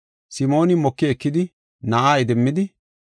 Simooni moki ekidi na7aa idimmidi,